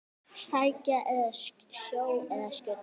Sækja sjó eða skjóta fugl.